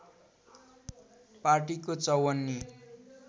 पार्टीको चौवन्नी